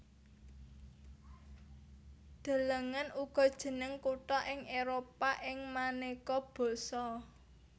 Delengen uga Jeneng kutha ing Éropah ing manéka basa